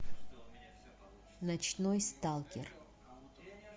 ночной сталкер